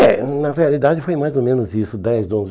É, na realidade foi mais ou menos isso, dez, onze